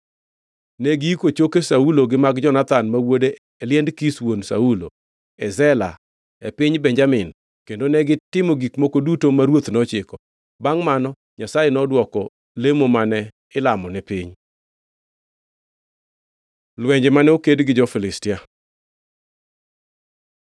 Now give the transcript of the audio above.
Negiiko choke Saulo gi mag Jonathan ma wuode e liend Kish wuon Saulo, e Zela e piny Benjamin kendo negitimo gik moko duto ma ruoth nochiko. Bangʼ mano Nyasaye nodwoko lemo mane ilamo ni piny. Lwenje mane oked gi jo-Filistia